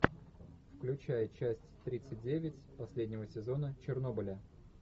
включай часть тридцать девять последнего сезона чернобыля